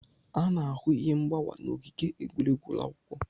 A na-ahụ ihe mgbawa n'ogige egwuregwu ụlọ akwụkwọ.